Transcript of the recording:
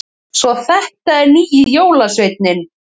Svo þetta er nýji jólasveininn!